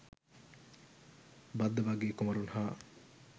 භද්දවග්ගිය කුමරුන් හා